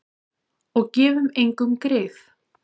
Og gefum engum grið.